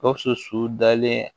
Gawusu su dalen